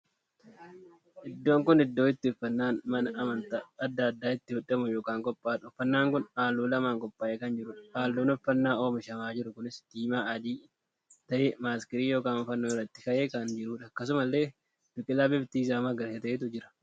Iddoon kun iddoo itti uffannaan mana amantaa addaa addaa itti hodhamuu ykn qophaa'uudha. uffannaan kun halluu lamaan qophaa'ee kan jiruudha. halluun uffannaa oomishamaa jiru kunis diimaa, adii tahee maskalii ykn fannoon irratti ka'ee kan jirudha. akkasumallee biqilaa bifti isaa magariisa ta'eetu jira